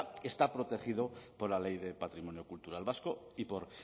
está protegido por la ley de patrimonio cultural vasco